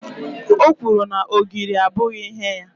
o kwuru na ogiri abụghị ihe ya